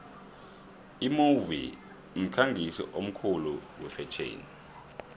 imove mkhangisi omkhulu wefetjheni